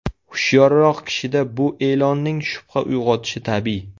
Hushyorroq kishida bu e’lonning shubha uyg‘otishi tabiiy.